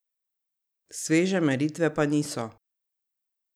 Sveže meritve pa niso.